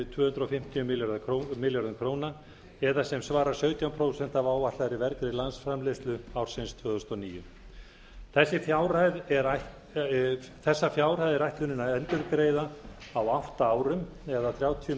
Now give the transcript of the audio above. tvö hundruð fimmtíu milljörðum króna eða sem svarar sautján prósent af áætlaðri vergri landsframleiðslu ársins tvö þúsund og níu þessa fjárhæð er ætlunin að endurgreiða á átta árum eða þrjátíu